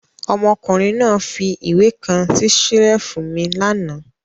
Ọmọkùnrin náà fi ìwé kan sí ṣẹ́lífù mi lánàá.